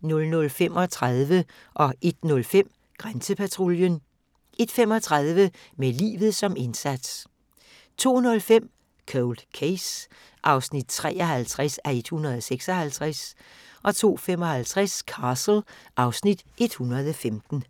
00:35: Grænsepatruljen 01:05: Grænsepatruljen 01:35: Med livet som indsats 02:05: Cold Case (53:156) 02:55: Castle (Afs. 115)